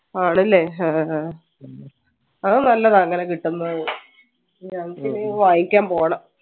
ആണല്ലേ ആഹ്ഹ അത് നല്ലത് അങ്ങനെ കിട്ടുന്നത് ഞങ്ങക്കിനി വാങ്ങിക്കാൻ പോണം